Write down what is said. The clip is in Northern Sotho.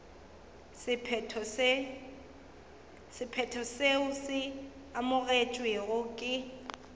sephetho seo se amogetšwego ke